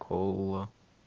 кола